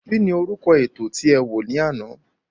Kín ni orúkọ ètò tí e wò ní àná?